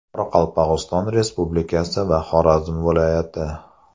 Qoraqalpog‘iston Respublikasi va Xorazm viloyati .